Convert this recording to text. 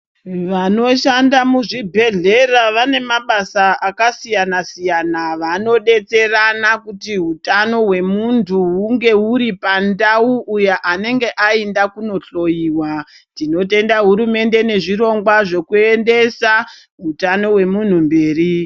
Vanoshanda muzvibhehlera vane mabasa akasiyana siyana. Vanodetsera kuti utano hwemunhu hunge huri pandau anenge aenda kuhloiwa. Tinotenda hurumende nezvirongwa zvinoendesa utano hwemunhu mberi.